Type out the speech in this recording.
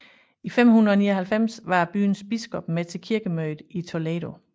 I 599 var byens biskop med til kirkemødet i Toledo